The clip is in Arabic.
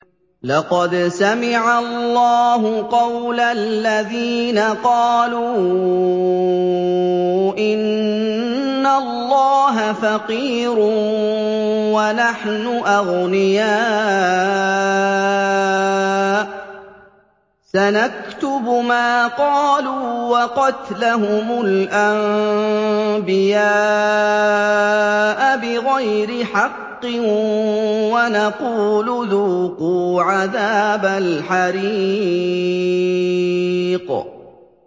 لَّقَدْ سَمِعَ اللَّهُ قَوْلَ الَّذِينَ قَالُوا إِنَّ اللَّهَ فَقِيرٌ وَنَحْنُ أَغْنِيَاءُ ۘ سَنَكْتُبُ مَا قَالُوا وَقَتْلَهُمُ الْأَنبِيَاءَ بِغَيْرِ حَقٍّ وَنَقُولُ ذُوقُوا عَذَابَ الْحَرِيقِ